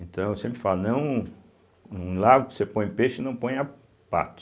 Então, eu sempre falo, não um num lago que você põe peixe, não ponha pato.